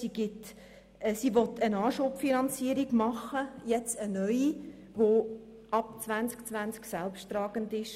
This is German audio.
Sie will jetzt eine neue Anschubfinanzierung machen, die ab dem Jahr 2020 selbsttragend ist.